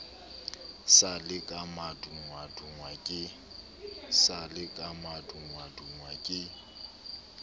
sa le ka madungwadungwa ke